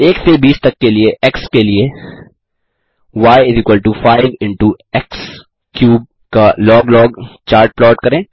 एक से बीस तक एक्स के लिए y5 इंटो एक्स3 का लॉग लॉग चार्ट प्लॉट करें